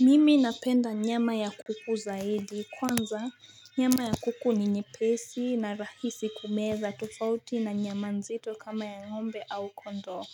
Mimi napenda nyama ya kuku zaidi kwanza nyama ya kuku ni nyepesi na rahisi kumeza tufauti na nyama nzito kama ya ng'ombe au kondo